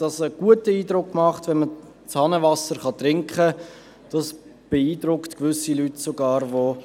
Gewisse Leute, die aus Übersee kommen, beeindruckt das sogar.